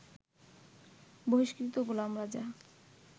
বহিষ্কৃত গোলাম রেজা